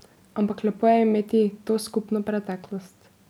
Ampak lepo je imeti to skupno preteklost.